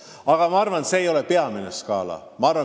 Aga ma arvan, et see ei ole peamine skaala.